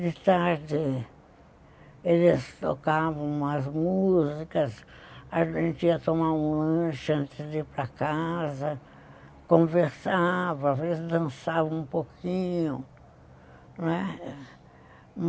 De tarde, eles tocavam umas músicas, a gente ia tomar um lanche antes de ir para casa, conversava, às vezes dançava um pouquinho , não é.